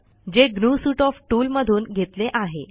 जे GNU suite of tool मधून घेतले आहे